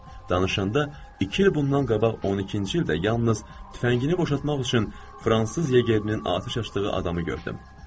Danışanda iki il bundan qabaq 12-ci ildə yalnız tüfəngini boşaltmaq üçün fransız yegerinin atəş açdığı adamı gördüm.